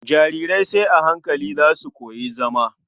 Jarirai sai a hankali za su koyi zama.